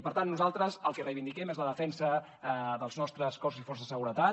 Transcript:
per tant nosaltres el que reivindiquem és la defensa dels nostres cossos i forces de seguretat